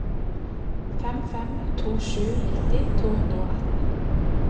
fem fem to sju nitti to hundre og atten